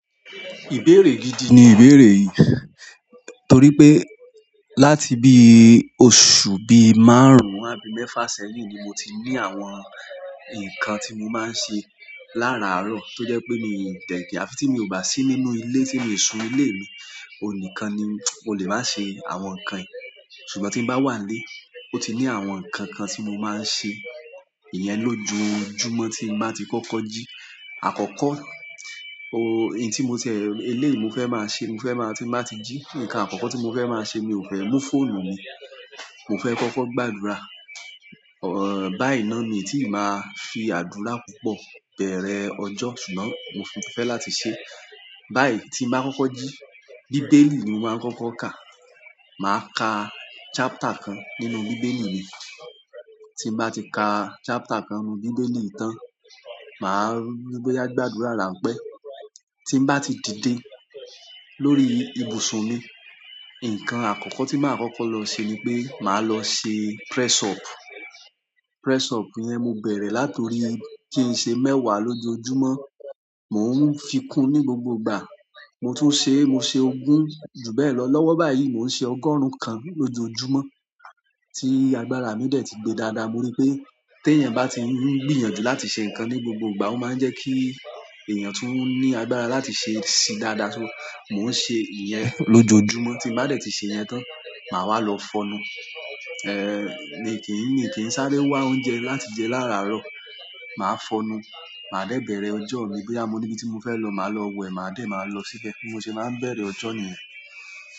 Ìbéèrè gidi ni ìbéèrè yìí tòrí pé láti bí ì òṣù bí márùn-ún àbí mẹ́fà sẹ́yìn ni mo ti ní àwọn nǹkan tí mò máà ń ṣe lára àárọ̀ tó jẹ́ pé mi ò tẹ̀tẹ àfi tí mi ò bá sí ní ìnú ilé tí mìo sún ìnù ilé mi, òní kàn ni mò lè máa ṣe àwọn nǹkan yìí. Ṣùgbọ́n tí mo bá wà ń lé, ó ti ní àwọn nǹkan kàn tí mò máà ń ṣe ìyẹn lójoojúmọ́ tí ń bá ti kọ́kọ́ jí. Àkọ́kọ́, òhùn tí mo tìẹ eléyì mò fẹ́ máa ṣe, mo fẹ́ máa tí ń báa ti jí, nǹkan àkọ́kọ́ tí mò fẹ́ máà ṣè mi ò fẹ́ mú fóònù mi, mò fẹ́ kọ́kọ́ gbàdúrà. Ọ, báì náà mí tí màá fi àdúrà púpọ̀ bẹ̀rẹ̀ ọjọ́, ṣùgbọ́n mò fì fẹ́ láti ṣe báyì tí ń bàá kọ́kọ́ jí. Bìbèèlì nì màà ń kọkọ kàà. Màá kàà chapter kàn nínú Bíbélì mi. Tí ń bá ti ka chapter kàn nínú Bíbélì yì tán, màá rí i bò yáá gbàdúrà ránpẹ́. Tí ń bá ti dìdè lórí ibùsùn mi, nǹkàn àkọ́kọ́ tí màá kọ́kọ́ lọ ṣe ni pé màá lọ ṣe press up. Press up yẹn mò bẹ̀rẹ̀ látòrí kí ń ṣe mẹ́wàá lójòòjúmọ́, mò ń fikún ní gbògbò ìgbà. Mo tún ṣe, mò ṣe ògún, jù bẹ́ẹ̀ lọ lọ́wọ́ báyìí mò ń ṣe ọgọ́rùn kàn lójòòjúmọ́ tí àgbára mi dẹ́ẹ̀ ti gbè dáàdáà. Mò rí i pé tí èèyàn bá ti ń gbìyànjú láti ṣe nǹkàn ní gbògbò ìgbà, ó máa ń jẹ́ kí èèyàn tùn ní àgbárà láti ṣe é ṣì dáadáa sóò. Mò ń ṣe ìyẹn lójoojúmọ́. Tí ń bàá dẹ̀ ti ṣe ìyẹn tán, màá wá lọ fọọnú. Èè, mi kì í, mi kì í sáré wá òúnjẹ láti jẹ lárà àárọ̀. Màá fọnú, màá dẹ̀ bẹ̀rẹ̀ ọjọ́ mi. Bòyá mò níbi tí mò fẹ́ lọ, màá lọ wẹ̀, màá dẹ̀ máà lọ síbẹ̀. Bí mò ṣe máa ń bẹ̀rẹ̀ ọjọ́ nìyẹn.